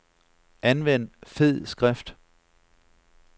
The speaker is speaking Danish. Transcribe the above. Anvend fed skrift.